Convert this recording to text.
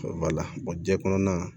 jɛn kɔnɔn na